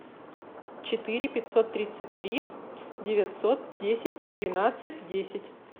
четыре пятьсот тридцать три девятьсот десять двенадцать десять